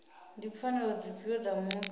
ndi pfanelo dzifhio dza muthu